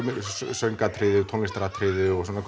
söng og tónlistaratriði og svona